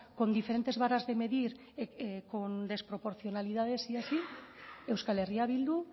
con diferentes varas de medir con desproporcionalidades y así euskal herria bildu